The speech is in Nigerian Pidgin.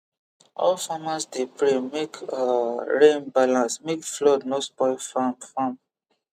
all farmers dey pray make um rain balance make flood no spoil farm farm